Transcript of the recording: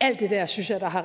alt det der synes jeg da har